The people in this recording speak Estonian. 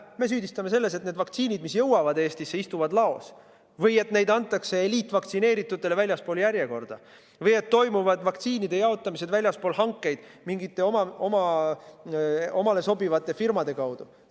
Me süüdistame valitsust selles, et need vaktsiinid, mis jõuavad Eestisse, istuvad laos või et neid antakse eliitvaktsineeritutele väljaspool järjekorda või et toimub vaktsiinide jaotamine väljaspool hankeid mingite omale sobivate firmade kaudu.